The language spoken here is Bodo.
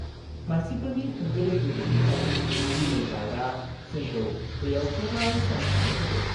मानसिफोरनि होंगो-दोंगो गैयैखाय, दिनै गार्डआ जोंखौ बेयाव गोबाव सम थानो होदों।